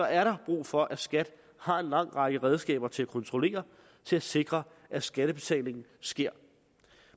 er der brug for at skat har en lang række redskaber til at kontrollere til at sikre at skattebetalingen sker